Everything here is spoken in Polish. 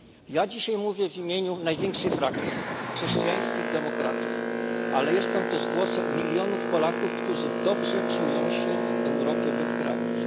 Ja dzisiaj mówię w imieniu największej frakcji Chrześcijańskich Demokratów, ale jestem też głosem milionów Polaków, którzy dobrze czują się w Europie bez granic.